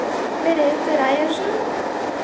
Merethe Reiersen